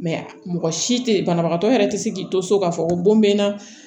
mɔgɔ si tɛ ye banabagatɔ yɛrɛ tɛ se k'i to so k'a fɔ ko bon bɛ n na